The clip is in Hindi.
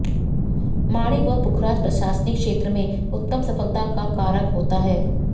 माणिक व पुखराज प्रशासनिक क्षेत्र में उत्तम सफलता का कारक होता है